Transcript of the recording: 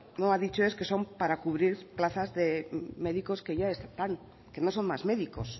no ha dicho es que son para cubrir plazas de médicos que ya están que no son más médicos